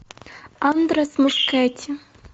андрес мускетти